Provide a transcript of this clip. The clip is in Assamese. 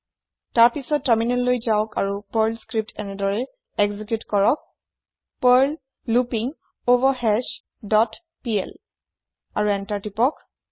তাৰ পিছত তাৰমিনেললৈ যাওক আৰু পাৰ্ল স্ক্ৰিপ্ট এনেদৰি এক্জিক্যুত কৰক পাৰ্ল লুপিংগভাৰহাছ ডট পিএল আৰু এন্তাৰ প্ৰেছ কৰক